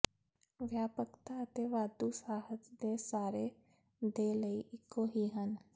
ਵਿਆਪਕਤਾ ਅਤੇ ਵਾਧੂ ਸਾਹਿਤ ਦੇ ਸਾਰੇ ਦੇ ਲਈ ਇੱਕੋ ਹੀ ਹਨ